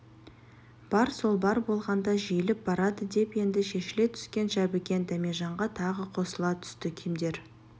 бар сол бар болғанда жиіліп барады деп енді шешіле түскен жәбікен дәмежанға тағы қосыла түсті кімдер